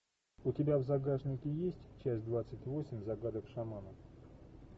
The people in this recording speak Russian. у тебя в загашнике есть часть двадцать восемь загадок шамана